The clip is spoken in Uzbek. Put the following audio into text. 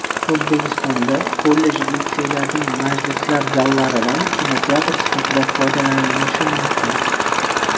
O‘zbekistonda kollej-litseylarning majlislar zallaridan kinoteatr sifatida foydalanilishi mumkin.